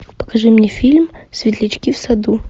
покажи мне фильм светлячки в саду